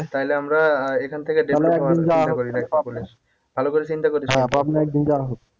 তাইলে আমরা আহ এখান থেকে ভালো করে চিন্তা করিস